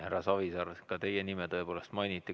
Härra Savisaar, ka teie nime mainiti.